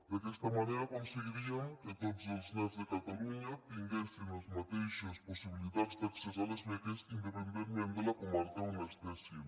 d’aquesta manera aconseguiríem que tots els nens de catalunya tinguessin les mateixes possibilitats d’accés a les beques independentment de la comarca on estiguessin